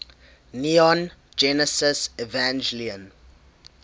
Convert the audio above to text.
neon genesis evangelion